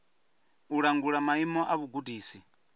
u langula maimo a vhugudisi